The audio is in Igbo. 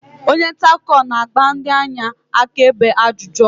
onye nta akụkọ na-agba ndị anya akaebe ajụjụ ọnụ